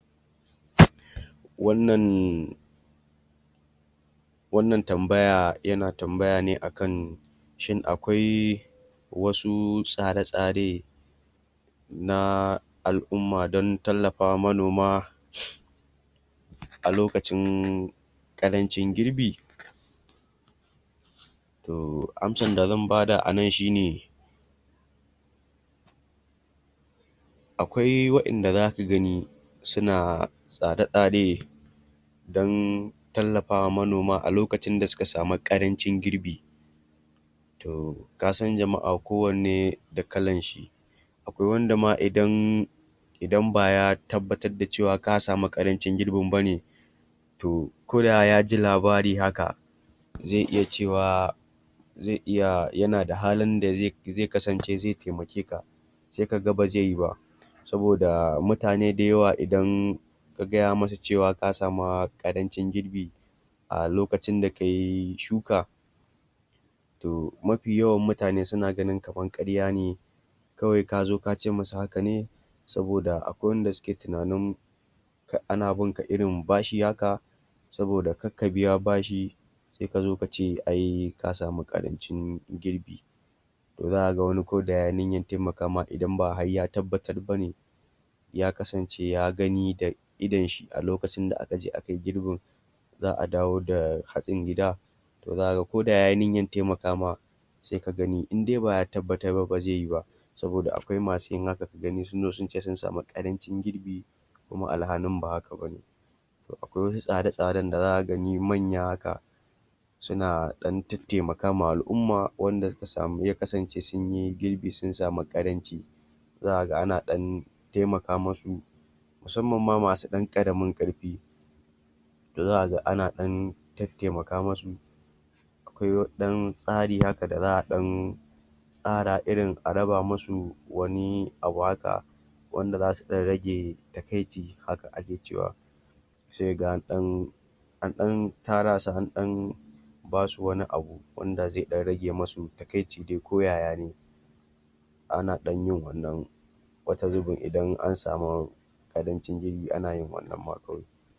Wannan wannan tambaya yana tambaya ne akan shin akwai, wasu tsare-tsare nas al'umma don tallafawa manoma, a lokacin ƙarancin girbi? (Pausue) Toh amsar da zan bada anan shine akwai wa'inda za ka gani suna tsare-tsare don tallafawa manoma a lokacin da suka sami ƙarancin girbi to kasan jama'a kowanne da kalan shi akwai wanda ma idan baya tabbatar da cewa ka sami ƙarancin girbin bane to, koda ya ji labari haka zai iya cewa zai iya yana da halin da zai taimakeka sai ka ga ba zai yi ba, saboda mutane da yawa idan ka gaya musu cewa ka samu ƙarancin girbi, a lokacin da kayi shuka to mafi yawan mutane suna gani kaman ƙarya ne kawai ka zo ka ce musu haka ne saboda akwai wanda suke tunanin kad ana binka irin bashi haka, saboda kadka biya bashi sai ka zo ka ce ka sami ƙarancin girbi. To zaka ga wani ko da yayi niyar taimakama idan ba har ya tabbatar bane ya kasance ya gani da idon shi a lokacin da akai girbin, za'a dawo da hatsin gida to zaka ga ko da yayi niyyan taimakama sai ka gani in dai ba ya tabbatar ba ba zai yi ba saboda akwai masu yin haka ka gani sun zo sun ce sun sami ƙarancin girbi kuma alhalin ba haka bane. Akwai wasu tsare-tsaren da za ka gani manya haka suna ɗan taimaka ma al'umma ya kasance sunyi girbi sun sami ƙaranci zaka ga ana ɗan taimaka musu, musamman ma masu ɗan ƙaramin ƙarfi da za ka ga ana ɗan tattaimaka musu akwai wani ɗan tsari haka da za'a ɗan tsara irin a raba musu wani abu haka wanda za su ɗan rage takaici, haka ake cewa sai ka ga an ɗan an ɗan tara su an ɗan basu wani abu wanda zai ɗan rage musu takaici dai ko yayane, ana ɗan yin wannan wata zubin idan an sami abincin girbi ana yin wannan ma kawai.